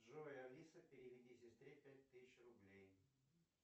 джой алиса переведи сестре пять тысяч рублей